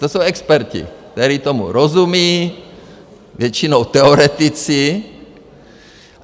To jsou experti, kteří tomu rozumí, většinou teoretici.